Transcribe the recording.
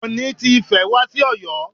Ooni ti Ifẹ̀ wá sí Ọ̀yọ́.